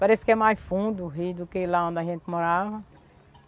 Parece que é mais fundo o Rio do que lá onde a gente morava.